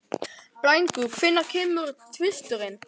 Blængur, hvenær kemur tvisturinn?